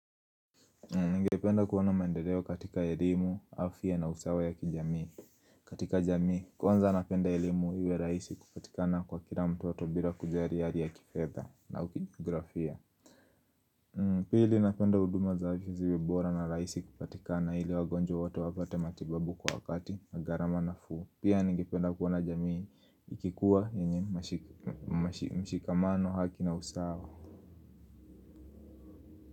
Ningependa kuona maendeleo katika elimu, afya na usawa ya katika jamii, kwanza napenda elimu iwe rahisi kupatikana kwa kila mtu bira kujari hali ya kifedha na kugharamia Pili napenda huduma za afya ziwe bora na rahisi kupatikana ili wagonjwa wote wapate matibabu kwa wakati na gharama nafuu Pia ningependa kuona jamii ikikuwa yenye mshikamano, haki na usawa.